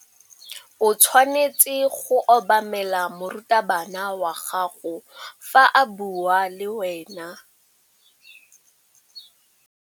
O tshwanetse go obamela morutabana wa gago fa a bua le wena.